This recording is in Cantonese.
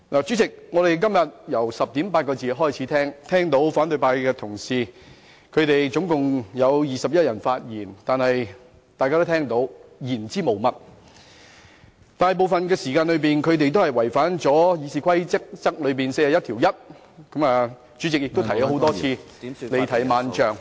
主席，我們今天由10時40分開始細聽了共21位反對派同事的發言，但全部言之無物，而且大部分時間違反《議事規則》第411條，主席更多次提醒他們不要離題萬丈......